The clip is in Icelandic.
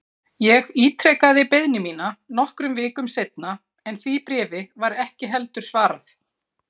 Ég ítrekaði beiðni mína nokkrum vikum seinna en því bréfi var ekki heldur svarað.